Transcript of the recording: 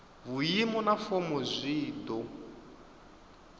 vhuimo na fomo zwi do